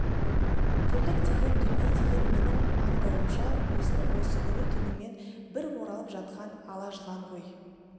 тірлік деген дүние деген менің аңдауымша өзінің осы күні-түнімен бір оралып жатқан ала жылан ғой